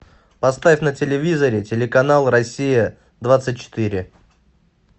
поставь на телевизоре телеканал россия двадцать четыре